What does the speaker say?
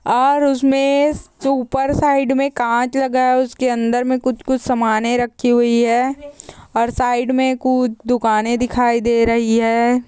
और उसमे ऊपर साइड में कांच लगा है उसके अंदर में कुछ-कुछ समाने रखी हुई है और साइड में कुछ दुकाने दिखाई दे रही है।